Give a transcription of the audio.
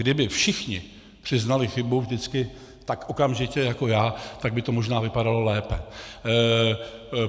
Kdyby všichni přiznali chybu vždycky tak okamžitě jako já, tak by to možná vypadalo lépe.